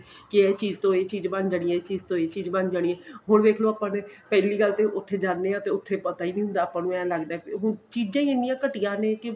ਕੇ ਇਹ ਚੀਜ਼ ਤੋਂ ਇਹ ਚੀਜ਼ ਬਣ ਜਾਣੀ ਏ ਇਹ ਚੀਜ਼ ਤੋ ਏਹ ਚੀਜ਼ ਬਣ ਜਾਣੀ ਏ ਹੁਣ ਵੇਖ੍ਲੋ ਆਪਾਂ ਨੂੰ ਪਹਿਲੀ ਗੱਲ ਤਾਂ ਉੱਥੇ ਜਾਨੇ ਹਾਂ ਤੇ ਉੱਥੇ ਪਤਾ ਨਹੀਂ ਹੁੰਦਾ ਆਪਾਂ ਨੂੰ ਇਹ ਲੱਗਦਾ ਉਹ ਚੀਜ਼ਾਂ ਹੀ ਇੰਨੀਆਂ ਘਟੀਆ ਨੇ ਕੇ